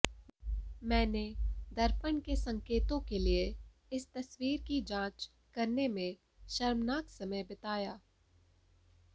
मैंने दर्पण के संकेतों के लिए इस तस्वीर की जांच करने में शर्मनाक समय बिताया